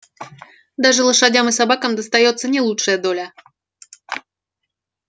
даже лошадям и собакам достаётся не лучшая доля